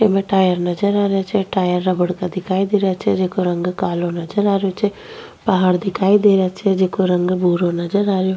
इमे टायर नजर आ रिया छे टायर रबड़ का दिखाई दे रिया छे जिको रंग कालो नजर आ रियो छे पहाड़ दिखाई दे रिया छे जिको रंग भूरो नजर आ रियो --